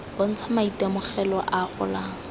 bontsha maitemogelo a a golang